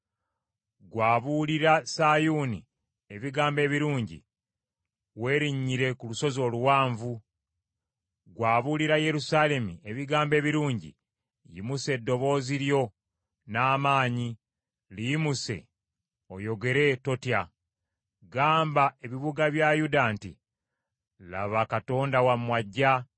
Ggwe abuulira Sayuuni ebigambo ebirungi, werinnyire ku lusozi oluwanvu; ggwe abuulira Yerusaalemi ebigambo ebirungi, yimusa eddoboozi lyo n’amaanyi, liyimuse oyogere, totya. Gamba ebibuga bya Yuda nti, “Laba Katonda wammwe ajja!”